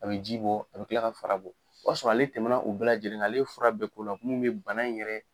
A be ji bɔ, a be kila ka fara bɔ. O y'a sɔrɔ ale tɛmɛ na o bɛɛ lajɛlen na, ale ye fura bɛɛ ko la mun be bana in yɛrɛ